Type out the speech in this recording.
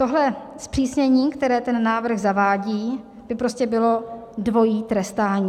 Tohle zpřísnění, které ten návrh zavádí, by prostě bylo dvojí trestání.